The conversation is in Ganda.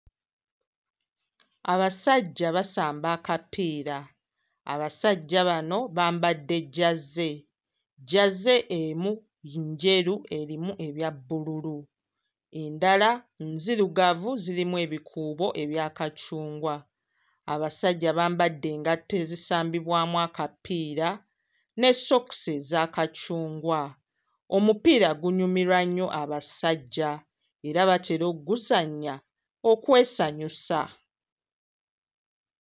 Abasajja basamba akapiira, abasajja bano bambadde jjaze, jjaze emu njeru erimu ebya bbululu, endala nzirugavu zirimu ebikuubo ebya kacungwa. Abasajja bambadde engatto ezisambibwamu akapiira ne sookisi eza kacungwa. Omupiira gunyumirwa nnyo abasajja era batera ogguzannya okwesanyusa.